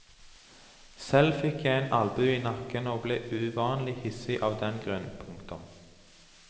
Selv fikk jeg en albue i nakken og ble uvanlig hissig av den grunn. punktum